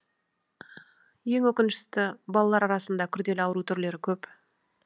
ең өкінішті балалар арасында күрделі ауру түрлері көп